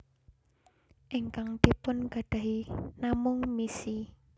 Ingkang dipun gadahi namung misi